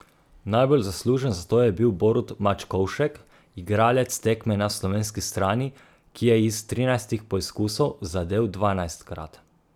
Najbolj zaslužen za to je bil Borut Mačkovšek, igralec tekme na slovenski strani, ki je iz trinajstih poizkusov zadel dvanajstkrat.